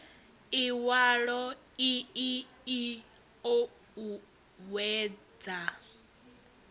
iwalo ii i o uuwedza